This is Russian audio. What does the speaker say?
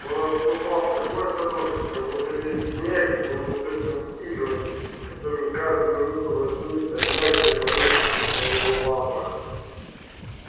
он ступал с такой осторожностью как будто весь снег был усыпан иглами готовыми каждую минуту вонзиться в мягкие подушки на его лапах